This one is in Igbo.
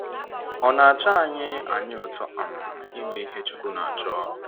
Ọ̀ na - atọ anyị anyị ụtọ um ime ihe Chukwu na-achọ?